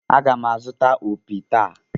Aga m azụta opi taa.